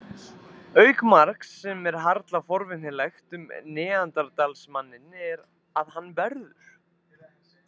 Auk margs sem er harla forvitnilegt um neanderdalsmanninn er að hann verður.